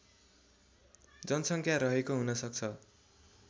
जनसङ्ख्या रहेको हुनसक्छ